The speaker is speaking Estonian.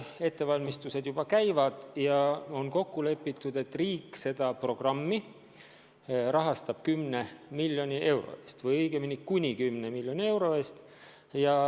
Ettevalmistused juba käivad ja on kokku lepitud, et riik rahastab seda programmi kuni 10 miljoni euro ulatuses.